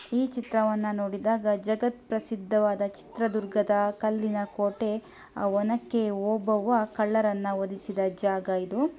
ಈ ಚಿತ್ರವನ್ನು ನೋಡಿದಾಗ ಜಗತ್ಪ್ರಸಿದ್ಧ ಸಿದ್ಧವಾದ ಚಿತ್ರದುರ್ಗದ ಕಲ್ಲಿನ ಕೋಟೆ ಅವನಕೆ ಓಬವ್ವ ಕಳ್ಳರನ್ನು ವಧಿಸಿದ ಜಾಗ ಇದು.